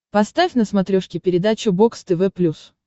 поставь на смотрешке передачу бокс тв плюс